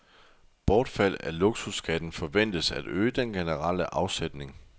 Bortfald af luksusskatten forventes at øge den generelle afsætning.